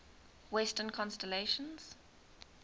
western constellations